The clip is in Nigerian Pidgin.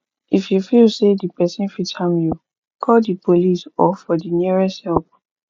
if you feel say di perosn fit harm you call di police or for the nearest help